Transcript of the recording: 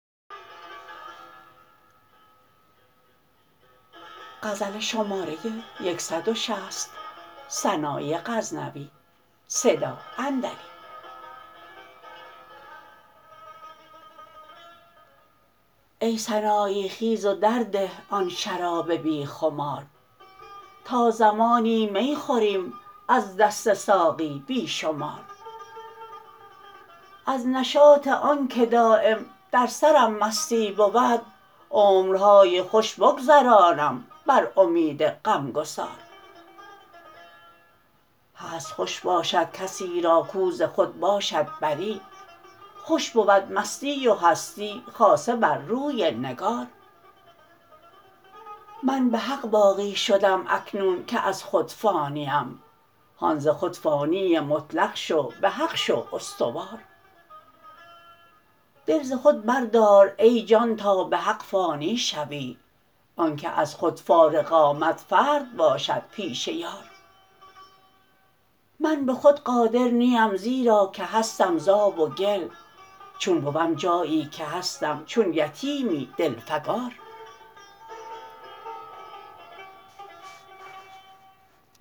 ای سنایی خیز و در ده آن شراب بی خمار تا زمانی می خوریم از دست ساقی بی شمار از نشاط آن که دایم در سرم مستی بود عمرهای خوش بگذرانم بر امید غم گسار هست خوش باشد کسی را کاو ز خود باشد بری خوش بود مستی و هستی خاصه بر روی نگار من به حق باقی شدم اکنون که از خود فانی ام هان ز خود فانی مطلق شو به حق شو استوار دل ز خود بردار ای جان تا به حق فانی شوی آن که از خود فارغ آمد فرد باشد پیش یار من به خود قادر نی ام زیرا که هستم ز آب و گل چون بوم جایی که هستم چون یتیمی دل فگار